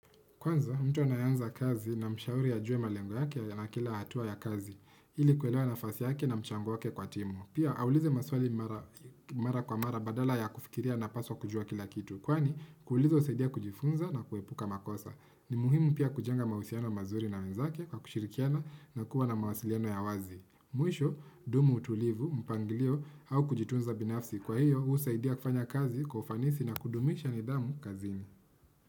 Kwanza, mtu anayeanza kazi na mshauri ajue malengo yake na kila hatua ya kazi, ili kuelewa nafasi yake na mchango wake kwa timu. Pia, aulize maswali mara kwa mara badala ya kufikiria anapaswa kujua kila kitu. Kwani, kuuliza husaidia kujifunza na kuepuka makosa. Ni muhimu pia kujenga mahusiano mazuri na wenzake kwa kushirikiana na kuwa na mawasiliano ya wazi. Mwisho, dumu utulivu, mpanglio au kujitunza binafsi. Kwa hiyo, husaidia kufanya kazi, kwa ufanisi na kudumisha nidhamu kazini.